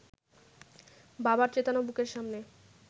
বাবার চেতানো বুকের সামনে